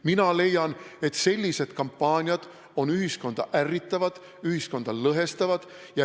Mina leian, et sellised kampaaniad on ühiskonda ärritavad, ühiskonda lõhestavad.